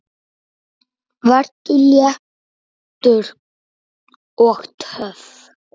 Vertu léttur. og töff!